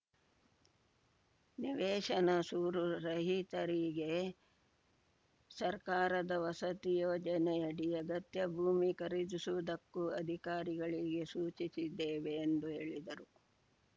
ನಿವೇಶನ ಸೂರು ರಹಿತರಿಗೆ ಸರ್ಕಾರದ ವಸತಿ ಯೋಜನೆಯಡಿ ಅಗತ್ಯ ಭೂಮಿ ಖರೀದಿಸುವುದಕ್ಕೂ ಅಧಿಕಾರಿಗಳಿಗೆ ಸೂಚಿಸಿದ್ದೇವೆ ಎಂದು ಹೇಳಿದರು